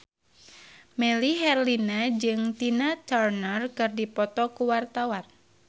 Melly Herlina jeung Tina Turner keur dipoto ku wartawan